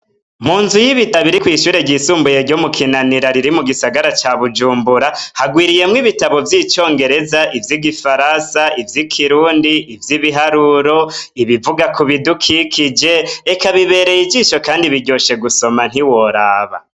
Mu nzu y'ibitabo iri kw'ishure ryisumbuye ryo mu kinanira riri mu gisagara ca bujumbura hagwiriyemwo ibitabo vy'icongereza ivyo igifarasa ivyo i kirundi ivyo ibiharuro ibivuga ku bidukikije eka bibereye ijisho, kandi biryoshe gusoma ntiworaba.